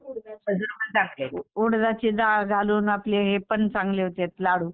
उडदाची डाळ घालून आपले हे पण चांगले होतात लाडू.